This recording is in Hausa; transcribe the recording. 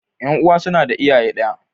Ƴan'uwa suna da iyaye ɗaya.